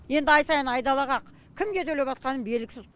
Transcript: енді ай сайын айдалаға кімге төлеватқаным белгісіз